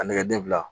A nɛgɛden fila